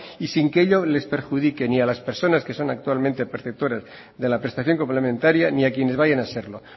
y sin que ello les perjudique ni a las personas que son actualmente perceptoras de la prestación complementaria ni a quienes vayan a serlo